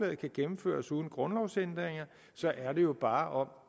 kan gennemføres uden grundlovsændringer er det jo bare om